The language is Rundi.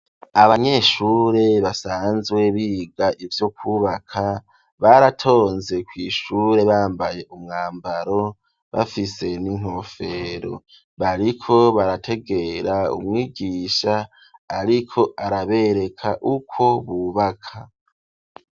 Abanyeshure basanzwe biga ivyo kubaka baratonze kw'ishure bambaye umwambaro bafise n'inkofero bariko barategera umwigisha ariko arabereka ukwo bubaka.